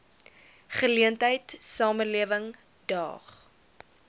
geleentheid samelewing daag